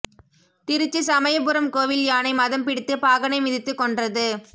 திருச்சி சமயபுரம் கோவில் யானை மதம் பிடித்து பாகனை மிதித்து கொன்றது